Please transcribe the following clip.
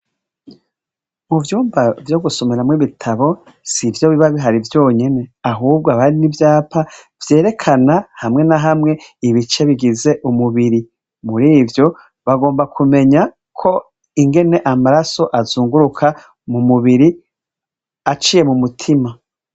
Muvyumba vyo gusomeramwo ibitabo sivyo biba bihari vyonyene ahubwo haba hari n'ivyapa vyerekana hamwe ma hamwe ibice bigize umubiri. Mur'ivyo bagomba kumenya ko ingene amaraso azunguruka m'umubiri aciye m'umutima.